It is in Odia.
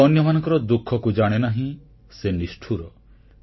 ଯିଏ ଅନ୍ୟମାନଙ୍କର ଦୁଃଖକୁ ଜାଣେନାହିଁ ସେ ନିଷ୍ଠୁର